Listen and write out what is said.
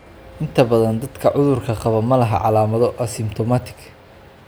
Inta badan dadka cudurka qaba ma laha calaamado ( asymptomatic).